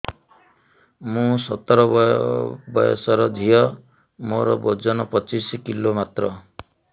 ମୁଁ ସତର ବୟସର ଝିଅ ମୋର ଓଜନ ପଚିଶି କିଲୋ ମାତ୍ର